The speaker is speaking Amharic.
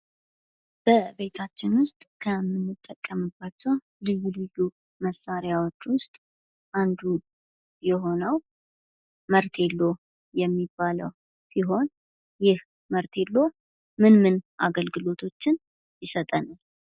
በቤታችን ውስጥ ከምንጠቀምባቸው ልዩ ልዩ መሣሪያዎች ውስጥ አንዱ የሆነው መርቴሎ የሚባለው ሲሆን ይህ መርቴሎ ምን ምን አገልግሎቶችን ይሰጠናል?